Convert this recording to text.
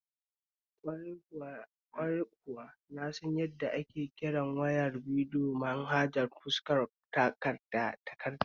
Kwarai kuwa, na san yadda ake kiran wayar bidiyo manhajar fuskar takarda